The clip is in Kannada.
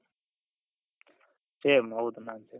same ಹೌದು ನಾನು same